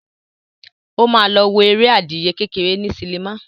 Ó ma lọ wo eré adìyẹ kékeré ní sinimá.